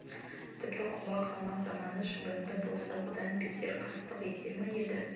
тіпті құба қалмақ заманы шабынды болса бұдан бетер қастық етер ме еді